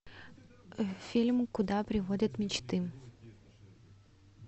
фильм куда приводят мечты